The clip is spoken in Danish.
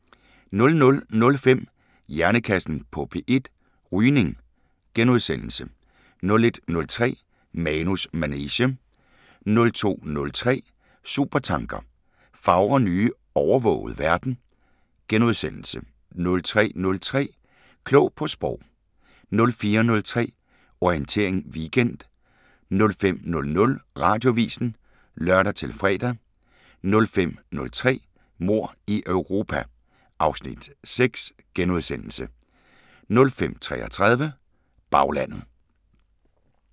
00:05: Hjernekassen på P1: Rygning * 01:03: Manus manege 02:03: Supertanker: Fagre nye, overvågede verden * 03:03: Klog på Sprog 04:03: Orientering Weekend 05:00: Radioavisen (lør-fre) 05:03: Mord i Europa (Afs. 6)* 05:33: Baglandet